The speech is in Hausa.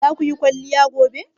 Zaku yi kwaliya gobe?